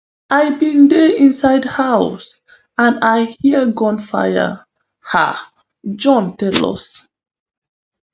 i bin dey inside house and i hear gunfire um john tell us